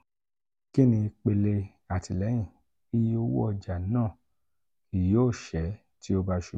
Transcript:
kini ipele atilẹyin (iye owo ọja naa kii yoo ṣẹ ti o ba ṣubu)?$